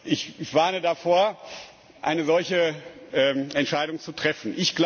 Ich warne davor, eine solche Entscheidung zu treffen.